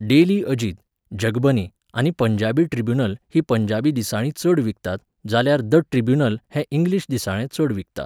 Daily Ajit, Jagbani आनी Punjabi Tribune हीं पंजाबी दिसाळीं चड विकतात जाल्यार द ट्रिब्यून हें इंग्लीश दिसाळें चड विकता.